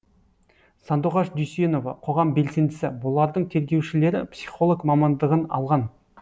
сандуғаш дүйсенова қоғам белсендісі бұлардың тергеушілері психолог мамандығын алған